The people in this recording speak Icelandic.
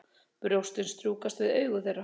Brjóstin strjúkast við augu þeirra.